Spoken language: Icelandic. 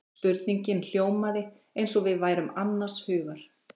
Spurningin hljómaði eins og við værum annars hugar.